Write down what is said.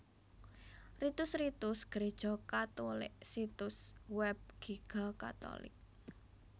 Ritus Ritus Gréja Katulik Situs Web Giga catholic